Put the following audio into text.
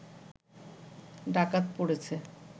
ডাকাত পড়েছে